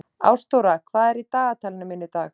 Ástþóra, hvað er í dagatalinu mínu í dag?